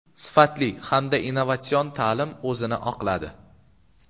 Sifatli hamda innovatsion ta’lim o‘zini oqladi.